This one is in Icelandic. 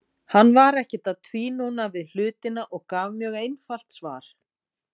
Hann var ekkert að tvínóna við hlutina og gaf mjög einfalt svar.